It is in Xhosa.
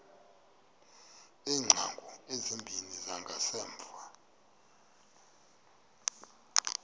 iingcango ezimbini zangasemva